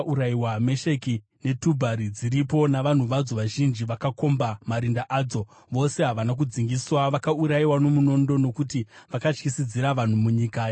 “Mesheki neTubhari dziripo, navanhu vadzo vazhinji vakakomba marinda adzo. Vose havana kudzingiswa, vakaurayiwa nomunondo nokuti vakatyisidzira vanhu munyika yavapenyu.